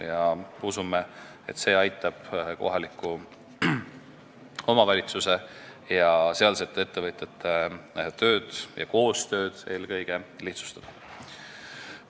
Me usume, et see aitab kohaliku omavalitsuse ja sealsete ettevõtjate koostööd lihtsustada.